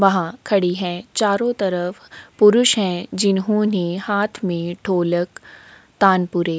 वहां खड़ी है चारों तरफ पुरुष हैं जिन्होंने हाथ में ढोलक तानपुरे --